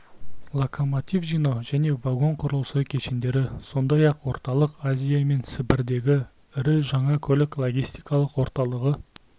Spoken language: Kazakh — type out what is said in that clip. локомотив жинау және вагон құрылысы кешендері сондай-ақ орталық азия мен сібірдегі ірі жаңа көлік-логистикалық орталығы